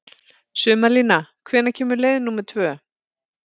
Sumarlína, hvenær kemur leið númer tvö?